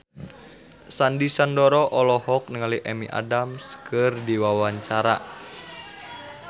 Sandy Sandoro olohok ningali Amy Adams keur diwawancara